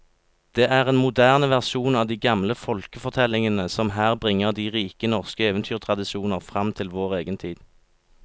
Det er en moderne versjon av de gamle folkefortellingene som her bringer de rike norske eventyrtradisjoner fram til vår egen tid.